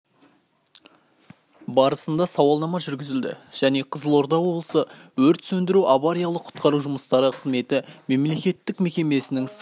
барысында сауалнама жүргізілді және қызылорда облысы өрт сөндіру және авариялық-құтқару жұмыстары қызметі мемлекеттік мекемесінің сыр